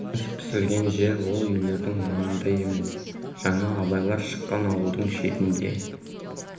ас пісірген жер ол үйлердің маңында емес жаңа абайлар шыққан ауылдың шетінде